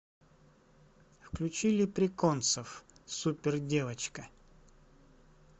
включи леприконсов супер девочка